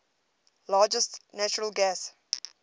largest natural gas